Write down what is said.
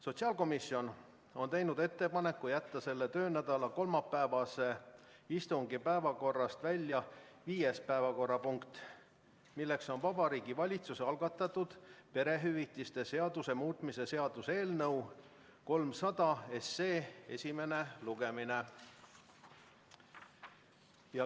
Sotsiaalkomisjon on teinud ettepaneku jätta selle töönädala kolmapäevase istungi päevakorrast välja viies päevakorrapunkt, Vabariigi Valitsuse algatatud perehüvitiste seaduse muutmise seaduse eelnõu 300 esimene lugemine.